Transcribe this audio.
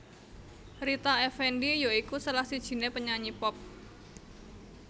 Rita Effendy ya iku salah sijiné penyanyi pop